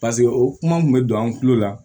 paseke o kuma bɛ don an kulo la